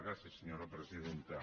gràcies senyora presidenta